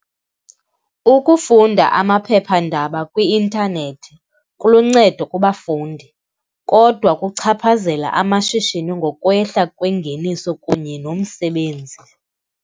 Ukufunda amaphephandaba kwi-intanethi kuluncedo kubafundi kodwa kuchaphazela amashishini ngokwehla kwengeniso kunye nomsebenzi.